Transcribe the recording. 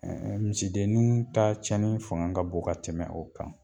Misidennin ta cɛni fanga ka bon ka tɛmɛ o kan